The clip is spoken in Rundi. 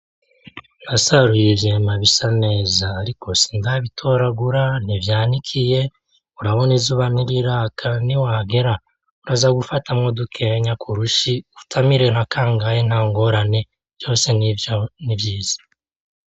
N'asaruye ivyema bisa neza ariko sindabitoragura ntivyanikiye urabona izuba ntiriraka n'iwahagera uraza gufatamwo bikenya kurushi utamire nka kangahe, ntangorane vyose n'ivyiza.